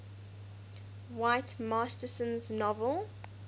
whit masterson's novel